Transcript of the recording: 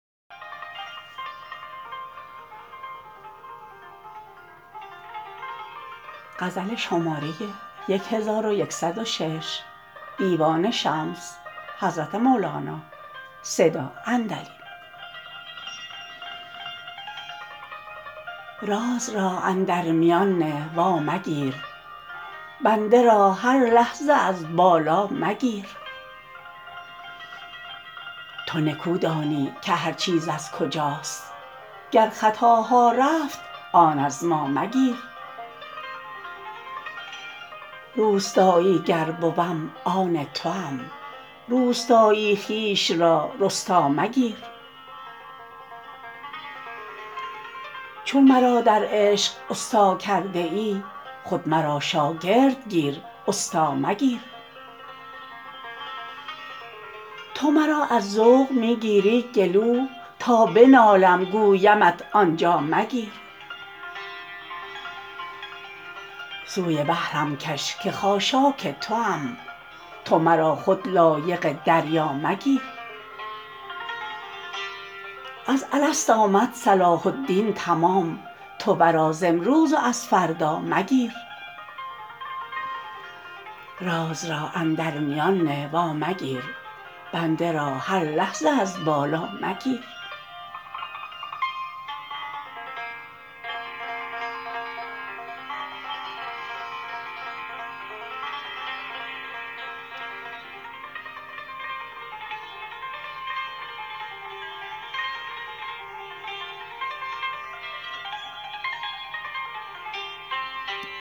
راز را اندر میان نه وامگیر بنده را هر لحظه از بالا مگیر تو نکو دانی که هر چیز از کجاست گر خطاها رفت آن از ما مگیر روستایی گر بوم آن توام روستایی خویش را رستا مگیر چون مرا در عشق ست ا کرده ای خود مرا شاگرد گیر ستا مگیر تو مرا از ذوق می گیری گلو تا بنالم گویمت آن جا مگیر سوی بحرم کش که خاشاک توام تو مرا خود لایق دریا مگیر از الست آمد صلاح الدین تمام تو ورا ز امروز و از فردا مگیر